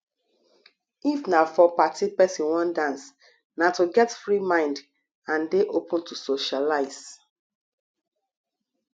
if na for party person wan dance na to get free mind and dey open to socialize